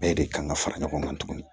Bɛɛ de kan ka fara ɲɔgɔn kan tuguni